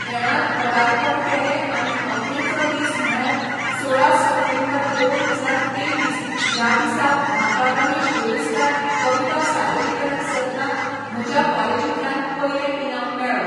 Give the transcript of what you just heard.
खेळांत पदार्पण केलें आनी अखेरचो दीस म्हळ्यार सोळा सप्टेंबर दोन हजार तेव्वीस ह्या दिसाक म्हाका रमेश वेळुस्कार कविता सादरीकरण सर्तांक म्हज्या कॉलिजींतल्यान पयलें इनाम मेळ्ळो